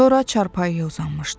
Sonra çarpayıya uzanmışdı.